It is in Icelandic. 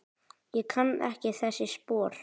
Ég kann ekki þessi spor.